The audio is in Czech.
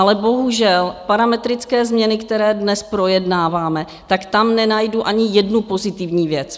Ale bohužel parametrické změny, které dnes projednáváme, tak tam nenajdu ani jednu pozitivní věc.